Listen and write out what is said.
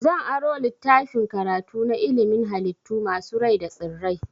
Zan aro littafin karatu na ilimin halittu masu rai da tsirrai.